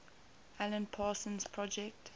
alan parsons project